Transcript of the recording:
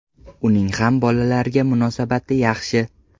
Uning ham bolalarga munosabati yaxshi.